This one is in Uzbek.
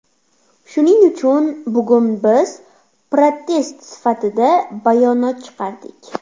Shuning uchun bugun biz protest sifatida bayonot chiqardik.